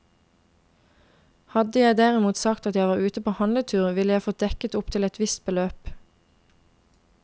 Hadde jeg derimot sagt at jeg var ute på handletur, ville jeg fått dekket opptil et visst beløp.